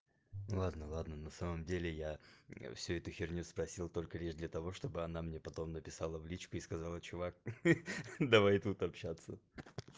ладно-ладно на самом деле я всю эту херню спросил только лишь для того чтобы она мне потом написала в личку и сказала чувак ха-ха давай тут общаться